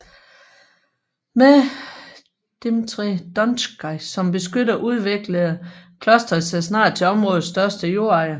Med Dmitrij Donskoj som beskytter udviklede klosteret sig snart til områdets største jordejer